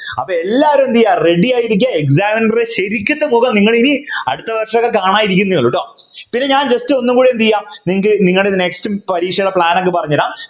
അപ്പൊ എല്ലാരും എന്ത് ചെയ്യാ ready ആയിരിക്ക്യ examiner ശരിക്കതെ മുഖം നിങ്ങളിനി അടുത്ത വർഷൊക്കെ കാണാനിരിക്കുന്നെ ഉള്ളു ട്ടോ പിന്നെ ഞാൻ just ഒന്നും കൂടി എന്ത് ചെയ്യാ നിങ്ങള്ക് നിങ്ങടെ next പരീക്ഷയുടെ plan അങ് പറഞ്ഞു തരാം